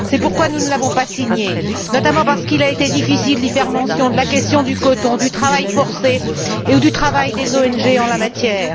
C'est pourquoi nous ne l'avons pas signée, notamment parce qu'il a été difficile d'y faire mention de la question du coton, du travail forcé et du travail des ONG en la matière.